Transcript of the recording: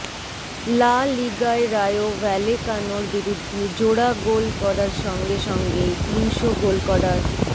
লা লিগায় রায়ো ভ্যালেকানোর বিরুদ্ধে জোড়া গোল করার সঙ্গে সঙ্গেই তিনশো গোল করার